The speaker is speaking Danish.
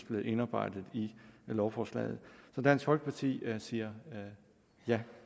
blevet indarbejdet i lovforslaget så dansk folkeparti siger ja